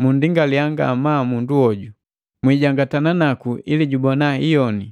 munndingalia ngamaa mundu hoju. Mwijangatana naku ili jubona hiyoni.